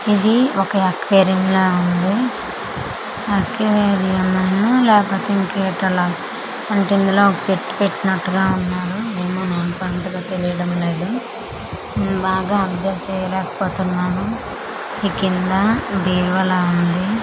ఇది ఒక యక్వేరియంలా ఉంది అక్వేరిమునో లేకపోతే ఇంకేటో లాగా అంటే ఇందులో ఒక చెట్టు పెట్టినట్టుగా ఉన్నారు ఏమో నాకు అంతగా తెలియడం లేదు బాగా అబ్జర్వ్ చేయలేకపోతున్నాను ఈ కింద బీరువాలా ఉంది.